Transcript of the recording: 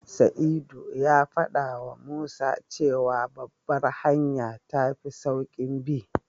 Sa'idu ya faɗawa Musa cewa Babbar hanya tafi sauƙin bi.